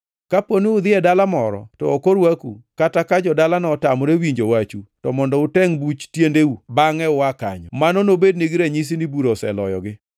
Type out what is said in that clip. Kaponi udhi e dala moro to ok orwaku kata ka jo-dalano otamore winjo wachu, to mondo utengʼ buch tiendeu bangʼe ua kanyo. Mano nobednigi ranyisi ni bura oseloyogi.”